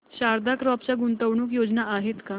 Sharda crop च्या गुंतवणूक योजना आहेत का